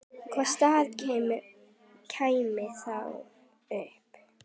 Hvaða staða kæmi þá upp?